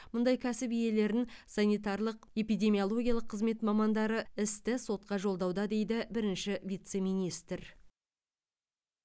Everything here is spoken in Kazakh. мұндай кәсіп иелерін санитарлық эпидемиологиялық қызмет мамандары істі сотқа жолдауда дейді бірінші вице министр